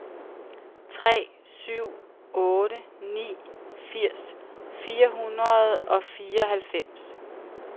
tre syv otte ni firs fire hundrede og fireoghalvfems